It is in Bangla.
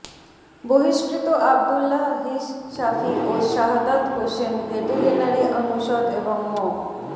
বহিষ্কৃত আব্দুল্লাহ হিশ শাফি ও শাহাদত হোসেন ভেটেরিনারি অনুষদ এবং মো